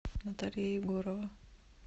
наталья егорова